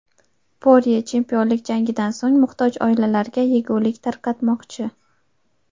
Porye chempionlik jangidan so‘ng muhtoj oilalarga yegulik tarqatmoqchi.